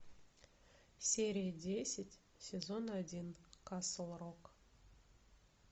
серия десять сезон один касл рок